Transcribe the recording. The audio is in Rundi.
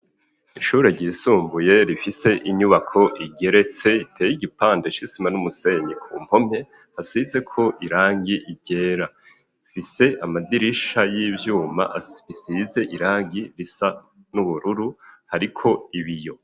Ishure ryisumbuye rifise inyubako igeretse, iteye igipande isima n'umusenyi ku mpome hasizeko irangi ryera, rifise amadirisha y'ivyuma asize irangi risa n'ubururu hariko ibiyo.